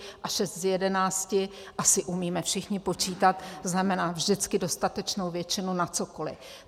A 6 z 11, asi umíme všichni počítat, znamená vždycky dostatečnou většinu na cokoli.